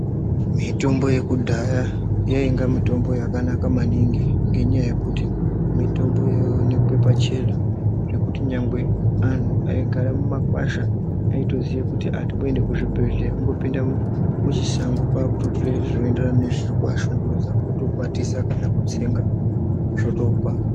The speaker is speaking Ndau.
Mitombo yekudhaya yainge mitombo yakanaka maningi ngekuti mitombo yaioneke pachena ngekuti chero antu aigara mumakwasha aitoziye kuti atimboende kuzvibhedhlera ongopinda muchishango ototora zvikuenderana nezvirikuashungurudza otokwatisa kana kutsenga zvotopera.